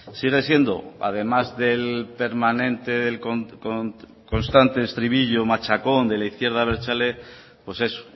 sigue siendo además del permanente constante estribillo machacón de la izquierda abertzale pues es